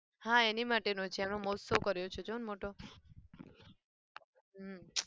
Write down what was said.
હા એની માટે નું છે એનો મહોત્સવ કર્યો છે જોને મોટો હમ